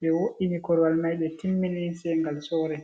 ɓe wo'ini korowal mai ɓe timmini se ngal sore.